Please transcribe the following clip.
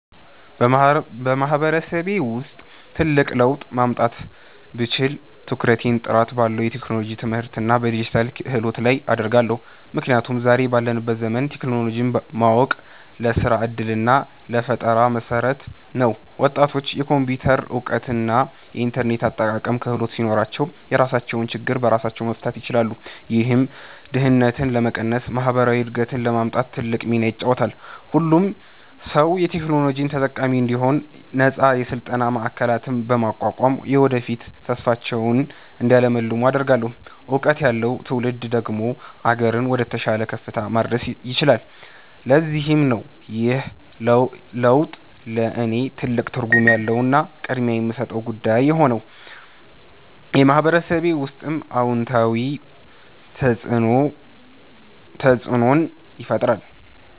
በማህበረሰቤ ውስጥ ትልቅ ለውጥ ማምጣት ብችል፣ ትኩረቴን ጥራት ባለው የቴክኖሎጂ ትምህርትና በዲጂታል ክህሎት ላይ አደርጋለሁ። ምክንያቱም ዛሬ ባለንበት ዘመን ቴክኖሎጂን ማወቅ ለስራ ዕድልና ለፈጠራ መሠረት ነው። ወጣቶች የኮምፒውተር እውቀትና የኢንተርኔት አጠቃቀም ክህሎት ሲኖራቸው፣ የራሳቸውን ችግር በራሳቸው መፍታት ይችላሉ። ይህም ድህነትን ለመቀነስና ማህበራዊ እድገትን ለማምጣት ትልቅ ሚና ይጫወታል። ሁሉም ሰው የቴክኖሎጂ ተጠቃሚ እንዲሆን ነፃ የስልጠና ማዕከላትን በማቋቋም፣ የወደፊት ተስፋቸውን እንዲያልሙ አደርጋለሁ። እውቀት ያለው ትውልድ ደግሞ አገርን ወደተሻለ ከፍታ ማድረስ ይችላል። ለዚህም ነው ይህ ለውጥ ለእኔ ትልቅ ትርጉም ያለውና ቅድሚያ የምሰጠው ጉዳይ የሆነው፤ በማህበረሰቤ ውስጥም አዎንታዊ ተፅእኖን ይፈጥራል።